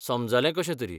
समजलें कशेंतरी.